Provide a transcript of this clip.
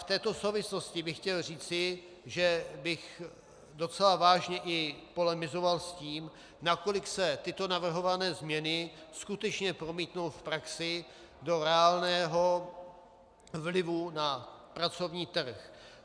V této souvislosti bych chtěl říci, že bych docela vážně i polemizoval s tím, nakolik se tyto navrhované změny skutečně promítnou v praxi do reálného vlivu na pracovní trh.